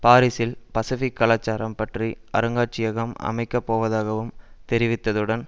பாரிசில் பசிபிக் கலாச்சாரம் பற்றிய அருங்காட்சியகம் அமைக்க போவதாகவும் தெரிவித்ததுடன்